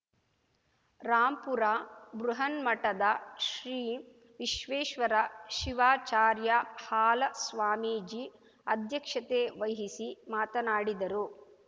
ರಾಂಪುರ ಬೃಹನ್ಮಠದ ಶ್ರೀ ವಿಶ್ವೇಶ್ವರ ಶಿವಾಚಾರ್ಯಹಾಲಸ್ವಾಮೀಜಿ ಅಧ್ಯಕ್ಷತೆವಹಿಸಿ ಮಾತನಾಡಿದರು